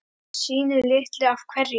Sínu litlu af hverju.